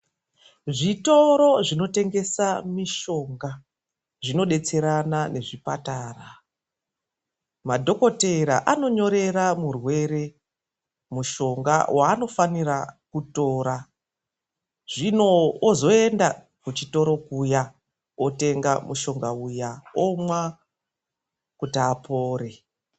Zvitoro zvinotengesa mishonga, zvinobetserana nezvepatara. Madhogodheya anonyorera murwere mushonga waanofanira kutora. Hino ozoenda kuchitoro kuya otenga mushonga uya, omwa kuti apore.